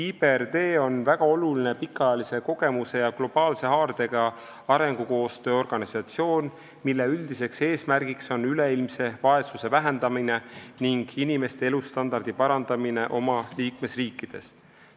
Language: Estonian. IBRD on väga oluline pikaajalise kogemuse ja globaalse haardega arengukoostöö organisatsioon, mille üldine eesmärk on vähendada üleilmset vaesust ning parandada inimeste elustandardit oma liikmesriikides.